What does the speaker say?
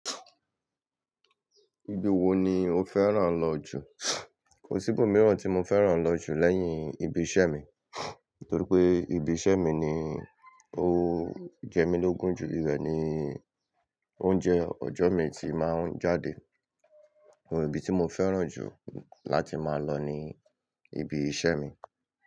Ibi wo ni o fẹ́ràn lọ jù? Kò sí ibòmíràn tí mo fẹ́ràn lọ jù lẹ́yìn ibi iṣẹ́ mi, torí pé ibi iṣẹ́ mi ni ó jẹ́mílógùn jù, ibẹ̀ ni oúnjẹ ọjọ́ mi ti máa ń jáde, ibi tí mo fẹ́ràn jù láti máa lọ ni ibi iṣẹ́ mi.